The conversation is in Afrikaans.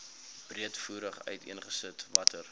breedvoerig uiteengesit watter